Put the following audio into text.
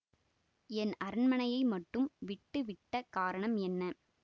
என் அரண்மனையை மட்டும் விட்டு விட்ட காரணம் என்ன